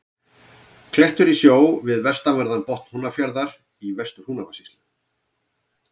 Klettur í sjó við vestanverðan botn Húnafjarðar í Vestur-Húnavatnssýslu.